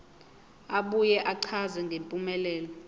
abuye achaze ngempumelelo